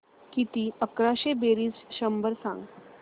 किती अकराशे बेरीज शंभर सांग